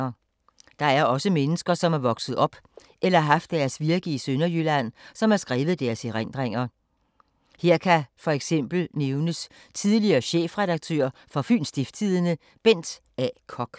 Der er også mennesker som er vokset op, eller har haft deres virke i Sønderjylland, som har skrevet deres erindringer. Her kan for eksempel nævnes tidligere chefredaktør for Fyns Stiftstidende Bent A. Koch.